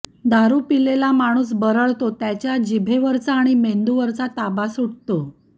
दारू पिलेला माणूस बरळतो त्याचा जिभेवरचा आणि मेंदूवरचा ताबा सुटतो